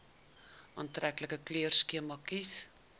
aantreklike kleurskema kies